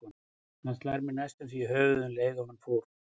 Hann slær mig næstum því í höfuðið um leið og hann fórn